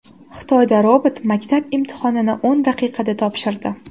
Xitoyda robot maktab imtihonini o‘n daqiqada topshirdi.